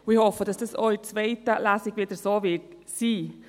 Ich hoffe, dass dies auch in der zweiten Lesung wieder so sein wird.